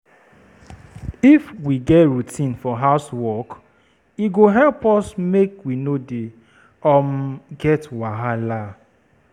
If we get routine for house work, e go help us make we no dey um get wahala.